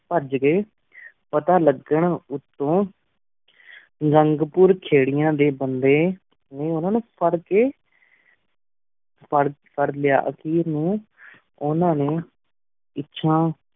ਪਾਜ ਗੀ ਪਤਾ ਲਗ੍ਹਨ ਉਤੁਨ ਰੰਘ ਪੁਰ ਖੀਰਾਂ ਡੀ ਬੰਦੀ ਉਨਾ ਨੂ ਪਰ ਕੀ ਫੇਰ ਲੇਯ ਹੇਅਰ ਨੂ ਉਨਾ ਨੀ ਪਿਚੁਨ